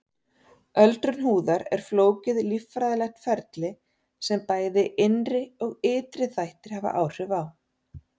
Öldrun húðar er flókið líffræðilegt ferli sem bæði innri og ytri þættir hafa áhrif á.